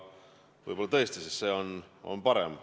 Võib-olla tõesti, sest see on parem.